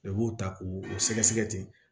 I b'u ta k'u sɛgɛsɛgɛ ten